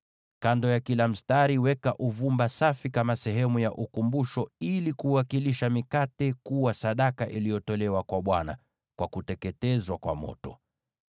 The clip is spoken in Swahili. Kando ya kila mstari, weka uvumba safi kama sehemu ya kumbukumbu ili kuwakilisha mikate kuwa sadaka iliyotolewa kwa Bwana kwa kuteketezwa kwa moto.